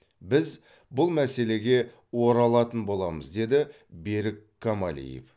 біз бұл мәселеге оралатын боламыз деді берік камалиев